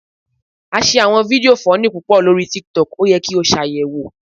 A ṣe awọn fidio funny pupọ lori tiktok, o yẹ ki o ṣayẹwopp